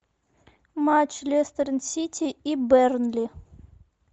матч лестер сити и бернли